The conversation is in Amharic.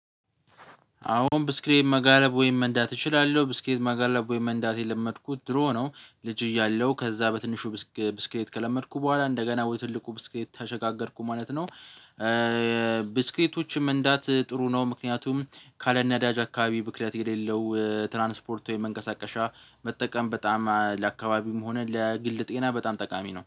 አሁን ብስክሬን መጋለብ ወይም መንዳት እችላለሁ ብስክሬን መጋለብ ወይም መንዳት የለመድኩት ድሮ ነው ልጅ እያለሁ ከዛ በትንሹ ብስክሬት ከለመድኩ በኋላ እንደገና ትልቁ ብስክሬት ተሸጋገርኩ ማለት ነው። ብስክሌቶች እንዳት ጥሩ ነው ምክንያቱም ካለነዳጅ አካባቢ ብክለት የሌለው ትራንስፖርት ወይም መንቀሳቀሻ መጠቀም በጣም ለአካባቢም ሆነ ለግል ጤና በጣም ጠቃሚ ነው